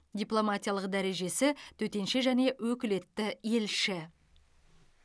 дипломатиялық дәрежесі төтенше және өкілетті елші